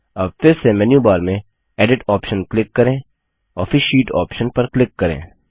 अब फिर से मेन्यूबार में एडिट ऑप्शन क्लिक करें और फिर शीट ऑप्शन पर क्लिक करें